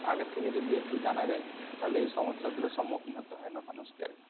আগে থেকে যদি একটু জানা যায় তাহলে এই সমস্যা গুলোর সম্মুখীন হতে হয় না মানুষকে আর।